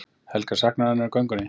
Helga: Saknarðu hennar í göngunni?